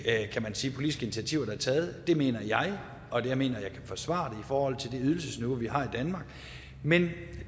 politiske initiativer der er taget det mener jeg og jeg mener at jeg kan forsvare forhold til det ydelsesniveau vi har i danmark men